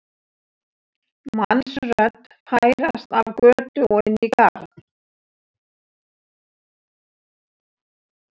mannsrödd færast af götu og inn í garð.